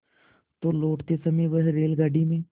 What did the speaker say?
तो लौटते समय वह रेलगाडी में